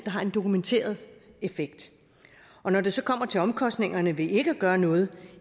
har en dokumenteret effekt når det så kommer til omkostningerne ved ikke at gøre noget